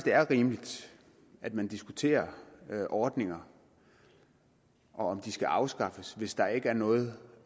er rimeligt at man diskuterer ordninger og om de skal afskaffes hvis der ikke er noget